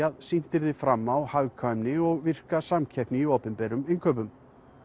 að sýnt verði fram á hagkvæmni og virka samkeppni í opinberum innkaupum